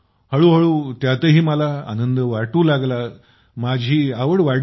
हळू हळू त्यातही मला आनद वाटू लागला माझी आवड वाढली